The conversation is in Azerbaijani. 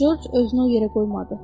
Corc özünü o yerə qoymadı.